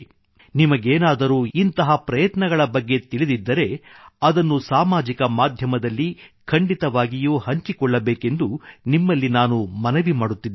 ನಿಮಗೇನಾದರೂ ಇಂತಹ ಅಥವಾ ಇಂತಹ ಪ್ರಯತ್ನಗಳ ಬಗ್ಗೆ ತಿಳಿದಿದ್ದರೆ ಅದನ್ನು ಸಾಮಾಜಿಕ ಮಾಧ್ಯಮದಲ್ಲಿ ಸೋಶಿಯಲ್ ಮೀಡಿಯಾ ಖಂಡಿತವಾಗಿಯೂ ಹಂಚಿಕೊಳ್ಳಬೇಕೆಂದು ನಿಮ್ಮಲ್ಲಿ ನಾನು ಮನವಿ ಮಾಡುತ್ತಿದ್ದೇನೆ